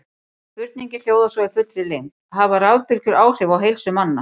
Spurningin hljóðar svo í fullri lengd: Hafa rafbylgjur áhrif á heilsu manna?